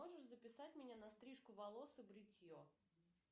можешь записать меня на стрижку волос и бритье